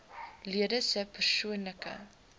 lede se persoonlike